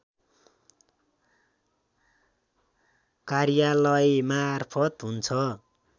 कार्यालयमार्फत हुन्छ